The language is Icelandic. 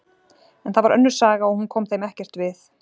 En það var önnur saga og hún kom þeim ekkert við.